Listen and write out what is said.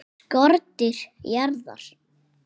SKORDÝR JARÐAR!